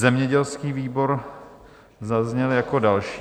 Zemědělský výbor zazněl jako další.